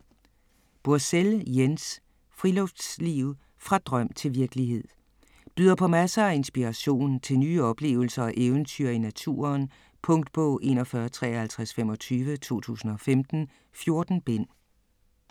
Bursell, Jens: Friluftsliv - fra drøm til virkelighed Byder på masser af inspiration til nye oplevelser og eventyr i naturen. Punktbog 415325 2015. 14 bind.